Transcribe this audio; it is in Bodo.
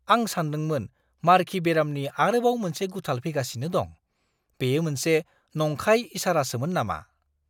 आं सानदोंमोन मारखि बेरामनि आरोबाव मोनसे गुथाल फैगासिनो दं। बेयो मोनसे नंखाय इसारासोमोन नामा?